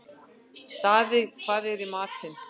Daði, hvað er í matinn?